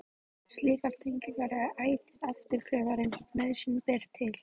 Slíkar tengingar eru ætíð afturkræfar eins og nauðsyn ber til.